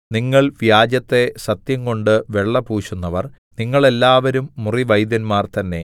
നിങ്ങൾ വ്യാജത്തെ സത്യംകൊണ്ട് വെള്ള പൂശുന്നവർ നിങ്ങളെല്ലാവരും മുറിവൈദ്യന്മാർ തന്നെ